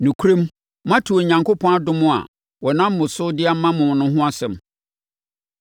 Nokorɛm, moate Onyankopɔn adom a ɔnam me so de ma mo no ho asɛm,